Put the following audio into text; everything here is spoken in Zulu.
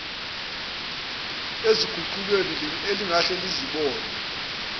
eziguqulweni elingahle lizibone